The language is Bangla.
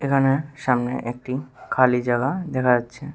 এখানে সামনে একটি খালি জাগা দেখা যাচ্ছে।